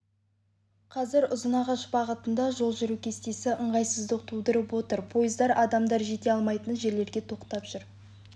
қазір ұзынағаш бағытында жол жүру кестесі ыңғайсыздық тудырып отыр пойыздар адамдар жете алмайтын жерлерге тоқтап жүр